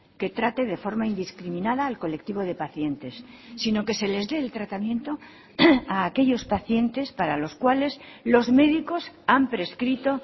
que trate de forma indiscriminada al colectivo de pacientes sino que se les dé el tratamiento a aquellos pacientes para los cuales los médicos han prescrito